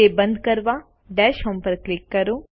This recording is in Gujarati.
તે બંદ કરવા ડેશહોમ પર ક્લિક કરો